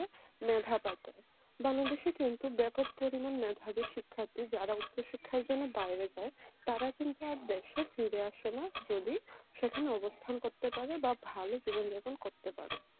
মেধা পাচার বাংলাদেশে কিন্তু ব্যাপক পরিমাণ মেধাবী শিক্ষার্থী যারা উচ্চশিক্ষার জন্য বাইরে যায় তারা কিন্তু আর দেশে ফিরে আসে না যদি সেখানে অবস্থান করতে পারে বা ভালো জীবনযাপন করতে পারে